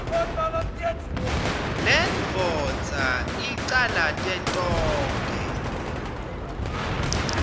lendvodza icalate tonkhe